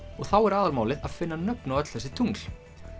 þá er aðalmálið að finna nöfn á öll þessi tungl